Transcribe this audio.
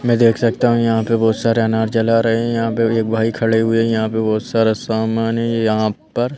मैं देख सकता हूँ यहाँ पे बहुत सारे अनार जला रहे हैं यहाँ पे एक भाई खड़े हुए हैं यहाँ पे बहुत सारा सामान है ये यहाँ पर--